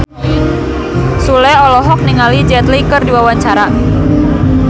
Sule olohok ningali Jet Li keur diwawancara